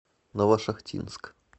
новошахтинск